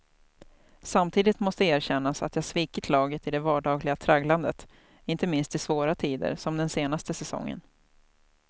Samtidigt måste erkännas att jag svikit laget i det vardagliga tragglandet, inte minst i svåra tider som den senaste säsongen.